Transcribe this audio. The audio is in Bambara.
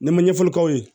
Ne ma ɲɛfɔli k'aw ye